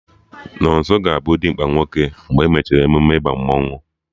Nonso ga-abụ dimkpa nwoke mgbe e mechara emume ịba mmanụ